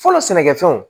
Fɔlɔ sɛnɛkɛfɛnw